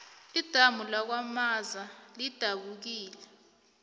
idamu lakwamaza lidabukile